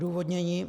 Odůvodnění.